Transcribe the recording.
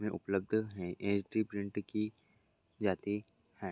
ये उपलब्ध है। ये प्रिंट की जाती है।